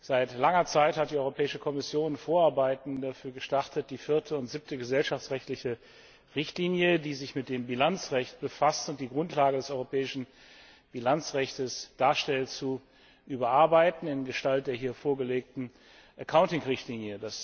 Seit langer Zeit hat die Europäische Kommission Vorarbeiten dafür gestartet, die vierte und siebte gesellschaftsrechtliche Richtlinie, die sich mit dem Bilanzrecht befasst und die Grundlage des europäischen Bilanzrechtes darstellt, zu überarbeiten in Gestalt der hier vorgelegten Richtlinie.